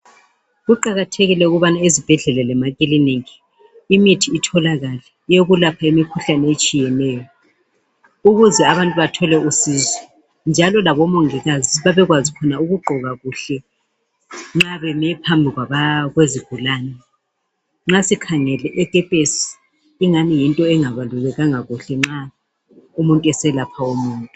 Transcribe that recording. Kuqakathekile ukubana ezibhedlela lema kilinika imithi itholakale yokulapha imikhuhlane etshiyeneyo ukuze abantu bathole usizo njalo labo mongikazi babekwazi ukugqoka kuhle nxa beme phambi kwezigulane. Nxa sikhangeli ikepesi ingani yinto engabulekanga nxa umuntu eselapha umuntu.